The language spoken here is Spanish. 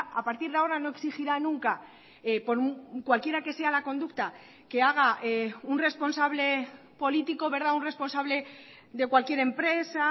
a partir de ahora no exigirá nunca por cualquiera que sea la conducta que haga un responsable político un responsable de cualquier empresa